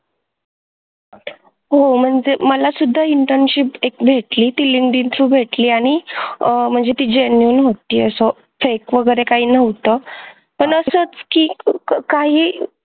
हो म्हणजे मला सुधा internship एक भेटली ती Linkdin through भेटली आणि आह म्हणजे ती genuine होती असं fake वगैरे काही न्हवत पण असाच कि काही